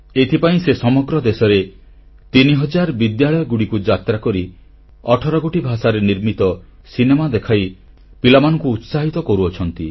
ଏଥିପାଇଁ ସେ ସମଗ୍ର ଦେଶରେ ତିନିହଜାର ବିଦ୍ୟାଳୟକୁ ଯାତ୍ରା କରି ଅଠର ଗୋଟି ଭାଷାରେ ନିର୍ମିତ ସିନେମା ଦେଖାଇ ପିଲାମାନଙ୍କୁ ଉତ୍ସାହିତ କରୁଛନ୍ତି